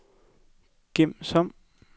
gem som